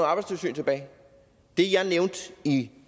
arbejdstilsyn tilbage det jeg nævnte i